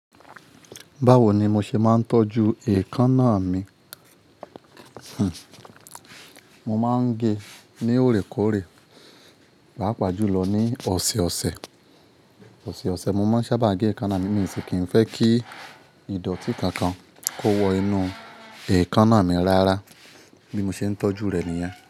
Báwo ni mo ṣe máa ń tọ́jú èékánná mi? Hm, mo máa ń ge ní òrèkóòrè, pá pàájù lọ ní ọ̀sẹ̀ọ̀sẹ̀, ọ̀sẹ̀ọ̀sẹ̀. Mo máa ń sábà gé èékánná mi nísìń, kí n fẹ́ kí ìdọ̀tí kankan kó wọ inú èékánná mi rárá. Bí mo ṣe ń tọ́jú rẹ̀ nìyẹn.